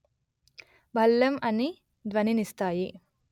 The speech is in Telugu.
భళ్ళెం అని ధ్వని నిస్తాయి